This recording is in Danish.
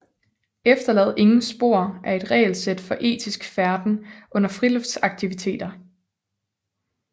Efterlad ingen spor er et regelsæt for etisk færden under friluftslivsaktiviteter